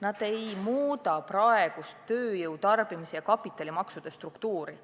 Nende elluviimine ei muudaks praegust tööjõu-, tarbimis- ja kapitalimaksude struktuuri.